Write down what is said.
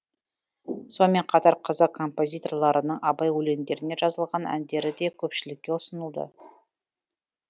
сонымен қатар қазақ композиторларының абай өлеңдеріне жазылған әндері де көпшілікке ұсынылды